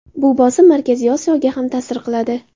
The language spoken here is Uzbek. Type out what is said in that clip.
Bu bosim Markaziy Osiyoga ham ta’sir qiladi.